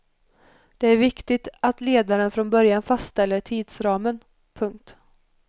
Det är viktigt att ledaren från början fastställer tidsramen. punkt